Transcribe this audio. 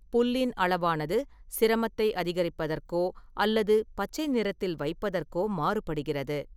புல்லின் அளவானது சிரமத்தை அதிகரிப்பதற்கோ அல்லது பச்சை நிறத்தில் வைப்பதற்கோ மாறுபடுகிறது.